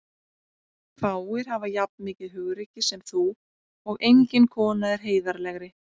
Fáir hafa jafn mikið hugrekki sem þú og engin kona er heiðarlegri.